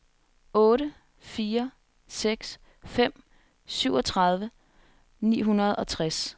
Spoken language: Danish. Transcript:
otte fire seks fem syvogtredive ni hundrede og tres